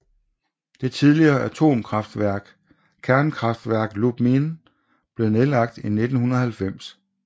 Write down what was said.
Det tidligere atomkraftværk Kernkraftwerk Lubmin blev nedlagt i 1990